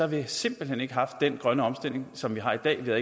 vi simpelt hen ikke haft den grønne omstilling som vi har i dag der